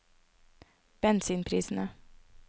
bensinprisene